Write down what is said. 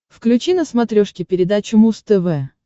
включи на смотрешке передачу муз тв